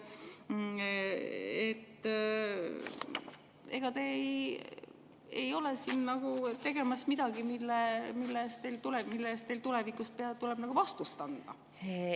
Ega te ei ole siin nagu tegemas midagi, mille eest teil tulevikus tuleb vastust anda?